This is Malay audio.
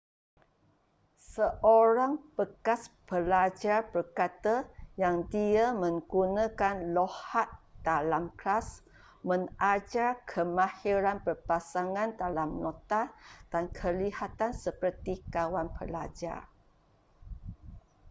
seorang bekas pelajar berkata yang dia 'menggunakan loghat dalam kelas mengajar kemahiran berpasangan dalam nota dan kelihatan seperti kawan pelajar.'